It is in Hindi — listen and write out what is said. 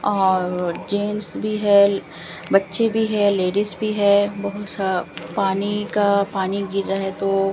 और जेंस भी है बच्चे भी हैं लेडिस भी है बहुत सा पानी का पानी गिर रहा है तो --